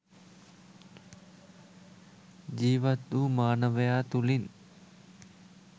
ජීවත්වූ මානවයා තුළින්